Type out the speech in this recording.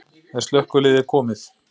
Er slökkviliðið komið?